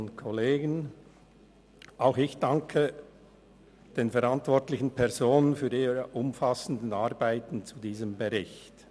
Auch ich danke den verantwortlichen Personen für ihre umfassenden Arbeiten zu diesem Bericht.